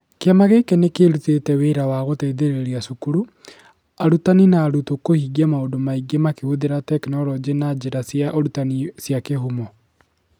Kĩama gĩkĩ nĩ kĩrutĩte wĩra wa gũteithĩrĩria cukuru, arutani na arutwo kũhingia maũndũ maingĩ makĩhũthĩra tekinoronjĩ na njĩra cia ũrutani cia kĩhumo.